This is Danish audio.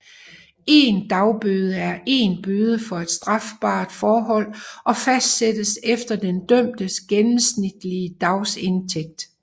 En dagbøde er en bøde for et strafbart forhold og fastsættes efter den dømtes gennemsnitlige dagsindtægt